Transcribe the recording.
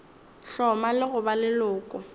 hloma le go ba leloko